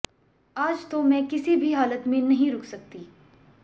आज तो मैं किसी भी हालत में नहीं रुक सकती